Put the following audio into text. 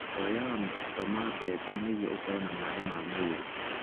Ũrĩaga mũbuto wa mbembe nĩguo ũkorũo na maĩ ma mwĩrĩ.